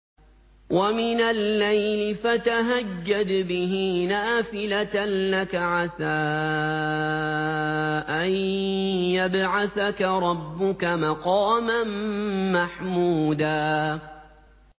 وَمِنَ اللَّيْلِ فَتَهَجَّدْ بِهِ نَافِلَةً لَّكَ عَسَىٰ أَن يَبْعَثَكَ رَبُّكَ مَقَامًا مَّحْمُودًا